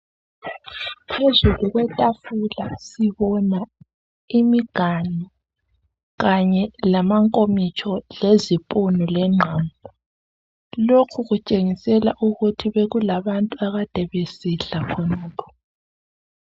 phezulu kwetafula sibona imiganu kanye lama nkomitsho lezipunu lengqamu lokhu kutshengisela ukuthi bekulabantu ade besidle khonokhu